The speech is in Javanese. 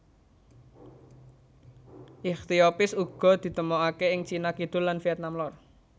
Ichthyophis uga ditemokaké ing Cina Kidul lan Vietnam lor